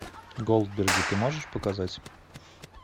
голдберги ты можешь показать